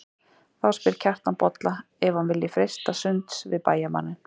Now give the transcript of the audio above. Þá spyr Kjartan Bolla ef hann vilji freista sunds við bæjarmanninn.